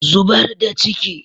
Zubar da ciki.